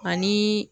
Ani